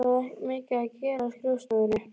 Var mikið að gera á skrifstofunni?